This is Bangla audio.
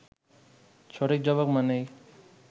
সঠিক জবাব মানেই